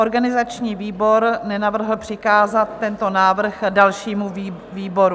Organizační výbor nenavrhl přikázat tento návrh dalšímu výboru.